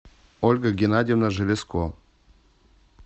ольга геннадьевна железко